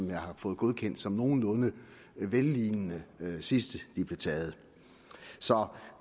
jeg har fået godkendt som nogenlunde vellignende sidst de blev taget så